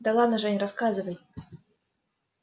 да ладно жень рассказывай